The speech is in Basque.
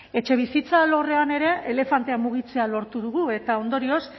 etxebizitza alorrean ere elefantea mugitzea lortu dugu eta ondorioz